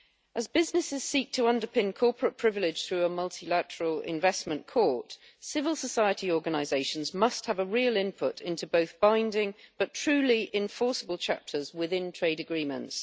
As businesses seek to underpin corporate privilege through a multilateral investment court, civil society organisations must have a real input into both binding but truly enforceable chapters within trade agreements.